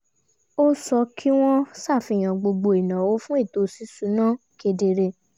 ó sọ kí wọ́n ṣàfihàn gbogbo ìnáwó fún ètò ṣíṣúná kedere